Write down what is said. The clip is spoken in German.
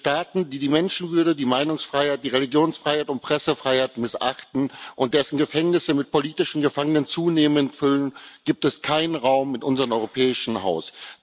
Für Staaten, die die Menschenwürde, die Meinungsfreiheit, die Religionsfreiheit und die Pressefreiheit missachten und deren Gefängnisse sich zunehmend mit politischen Gefangenen füllen, gibt es keinen Raum in unserem europäischen Haus.